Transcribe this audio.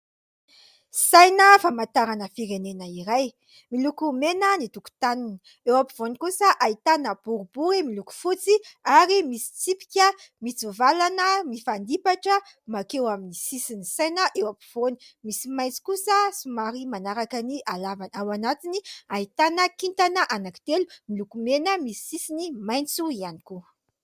Saina famantarana firenena iray, miloko mena ny tokontaniny, eo afovoany kosa ahitana boribory miloko fotsy ary misy tsipika mitsivalana mifandipatra mankeo amin'ny sisin'ny saina eo afovoany ; misy maitso kosa somary manaraka ny halavany, ao anatiny ahitana kintana anankitelo miloko mena misy sisiny maitso ihany koa.